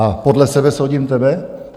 A podle sebe soudím tebe?